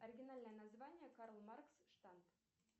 оригинальное название карл маркс штадт